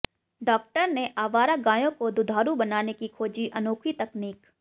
doctor ने आवारा गायों को दुधारू बनाने की खोजी अनोखी तकनीक